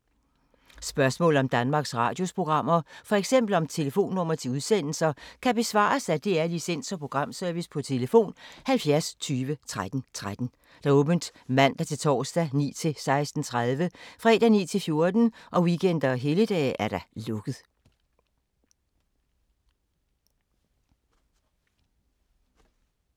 Spørgsmål om Danmarks Radios programmer, f.eks. om telefonnumre til udsendelser, kan besvares af DR Licens- og Programservice: tlf. 70 20 13 13, åbent mandag-torsdag 9.00-16.30, fredag 9.00-14.00, weekender og helligdage: lukket.